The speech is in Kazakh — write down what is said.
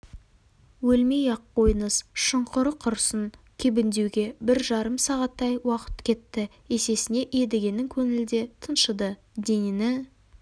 өлмей-ақ қойыңыз шұңқыры құрысын кебіндеуге бір жарым сағаттай уақыт кетті есесіне едігенің көңілі де тыншыды денені